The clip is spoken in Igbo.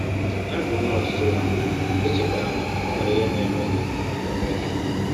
Ya bụrụ na ọ dịtụla, echekwala na e nwere ihe na - eme gị eme gị.